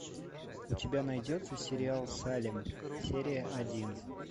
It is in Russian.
у тебя найдется сериал салем серия один